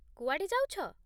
କୁଆଡ଼େ ଯାଉଛ?